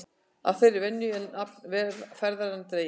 Af þeirri venju er nafn ferðanna dregið.